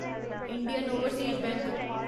Indian Overseas bank